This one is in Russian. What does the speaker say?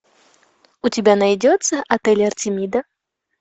у тебя найдется отель артемида